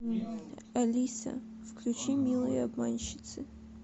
алиса включи милые обманщицы